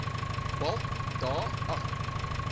walt da agb